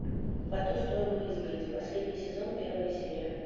по ту сторону изгороди последний сезон первая серия